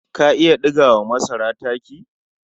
Ka iya ɗiga wa masara taki?